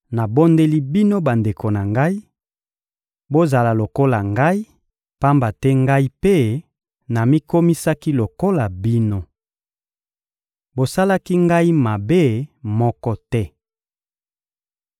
Nabondeli bino bandeko na ngai: Bozala lokola ngai, pamba te ngai mpe namikomisaki lokola bino. Bosalaki ngai mabe moko te.